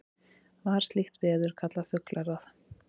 var slíkt veður kallað fuglagráð